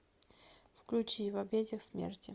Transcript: включи в объятиях смерти